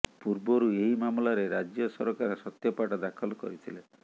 ପୂର୍ବରୁ ଏହି ମାମଲାରେ ରାଜ୍ୟ ସରକାର ସତ୍ୟପାଠ ଦାଖଲ କରିଥିଲେ